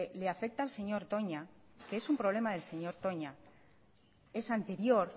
le afecta al señor toña que es un problema del señor toña es anterior